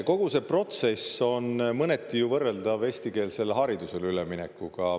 Kogu see protsess on mõneti ju võrreldav eestikeelsele haridusele üleminekuga.